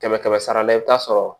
Kɛmɛ kɛmɛ sara la i bɛ taa sɔrɔ